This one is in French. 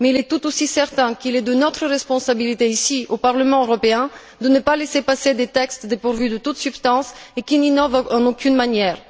Mais il est tout aussi certain qu'il est de notre responsabilité, ici au Parlement européen, de ne pas laisser passer des textes dépourvus de toute substance et qui n'innovent en aucune manière.